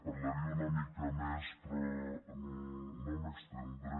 parlaria una mica més però no m’estendré